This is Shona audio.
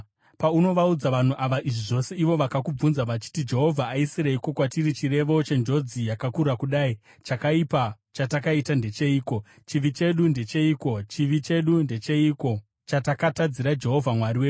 “Paunovaudza vanhu ava izvi zvose ivo vakakubvunza vachiti ‘Jehovha aisireiko kwatiri chirevo chenjodzi yakakura kudai? Chakaipa chatakaita ndecheiko? Chivi chedu ndecheiko? Chivi chedu ndecheiko chatakatadzira Jehovha Mwari wedu?’